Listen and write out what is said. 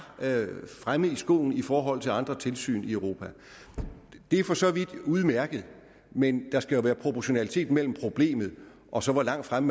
fremme i skoene i forhold til andre tilsyn i europa det er for så vidt udmærket men der skal jo være proportionalitet mellem problemet og så hvor langt fremme